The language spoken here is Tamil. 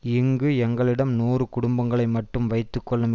இங்கு எங்களிடம் நூறு குடும்பங்களை மட்டும் வைத்து கொள்ளும்